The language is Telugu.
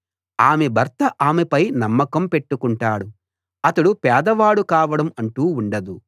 ఆమె భర్త ఆమెపై నమ్మకం పెట్టుకుంటాడు అతడు పేదవాడు కావడం అంటూ ఉండదు